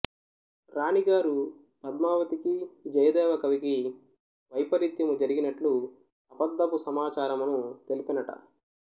రాణిగారు పద్మావతికి జయదేవ కవికి వైపరీత్యము జరిగినట్లు అబద్ధపు సమాచారమును తెల్పెనట